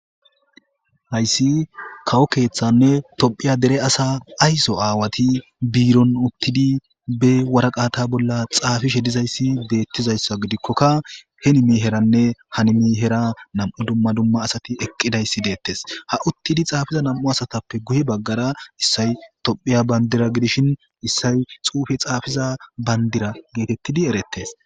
hayssi kawo keeththanne tophiya dere asa ayso aawati biiron uttidi be waraqata bolla xaafishe dizayssi deettizayssa gidikkokka he nimi heranne hanimi hera nam7u dumma dumma asati eqqidayssi deettes ha uttidi xaafiza nam7u asatappe guye baggara issay tophiya bandira gidishin issay xuufe xaafiza bandira geetettidi erettes